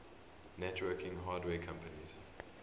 networking hardware companies